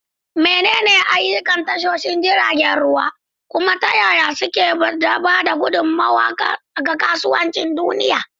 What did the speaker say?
Menene ayyukan tashoshin jiragen ruwa, kuma ta yaya suke ba da gudummawa ga kasuwancin duniya?